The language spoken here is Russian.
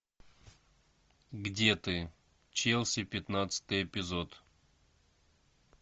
где ты челси пятнадцатый эпизод